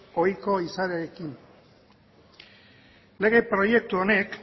ohiko izaerarekin lege proiektu honek